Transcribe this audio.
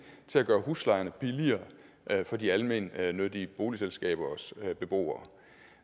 til at gøre huslejerne billigere for de almennyttige boligselskabers beboere